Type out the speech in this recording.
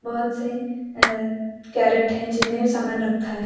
बहोत से अ कैरेट है जिनमें सामान रखा है।